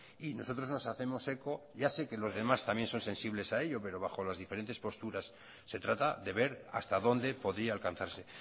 y nosotros nos hacemos eco ya sé que los demás también son sensibles a ello pero bajo las diferentes posturas se trata de ver hasta dónde podía alcanzarse